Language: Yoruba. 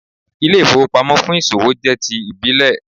Ilé-ìfowópamọ́ fún ìsòwò jẹ́ ti ìbílẹ̀